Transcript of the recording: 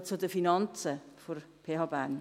Ich komme zu den Finanzen der PH Bern.